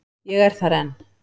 Ég er þar enn.